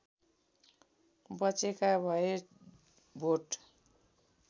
बचेका भए भोट